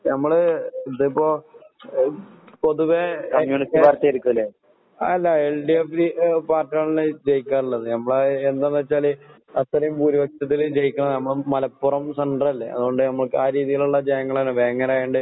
ഞമ്മള് ഇതിപ്പൊ എഹ് പൊതുവേ അല്ല എൽഡിഎഫില് ഏഹ് പാർട്ടിയാണല്ലോ ജയിക്കാറ്ള്ളത്. ഞമ്മളെ എന്താന്നെച്ചാല് അത്രേം ഭൂരിപക്ഷത്തില് ജയിക്കണ ഞമ്മള് മലപ്പുറം സെന്ററല്ലേ. അതോണ്ട് ഞമ്മക്കാരീതീലൊള്ള ജയങ്ങളാണ്. വേങ്ങരായോണ്ട്